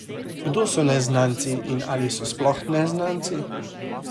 Kdo so neznanci in ali so spoh neznanci?